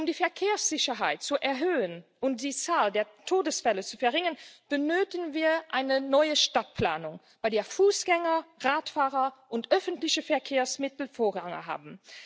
Um die Verkehrssicherheit zu erhöhen und die Zahl der Todesfälle zu verringern, benötigen wir eine neue Stadtplanung, bei der Fußgänger, Radfahrer und öffentliche Verkehrsmittel Vorrang haben.